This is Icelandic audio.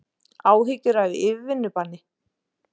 Áhyggjur af yfirvinnubanni